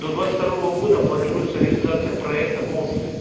до двадцать второго года планируется реализация проекта по